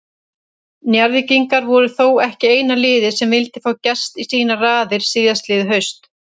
Njarðvíkingar voru þó ekki eina liðið sem vildi fá Gest í sínar raðir síðastliðið haust.